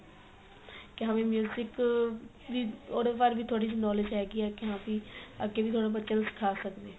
ਕੀ ਹਾ ਵੀ ਵੀ ਉਹਦੇ ਬਾਰੇ ਵੀ ਥੋੜਾ knowledge ਹੈਗੀ ਏ ਕੀ ਹਾਂ ਵੀ ਅਗੇ ਵੀ ਥੋੜਾ ਬੱਚਿਆ ਨੂੰ ਸਿਖਾ ਸਕਦੇ ਆ